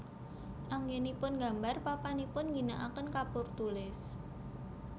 Anggénipun nggambar papanipun ngginakaken kapur tulis